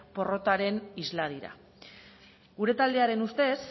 porrotaren isla dira gure taldearen ustez